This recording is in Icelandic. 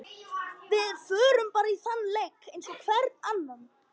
Við förum bara í þann leik eins og hvern annan.